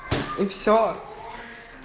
и все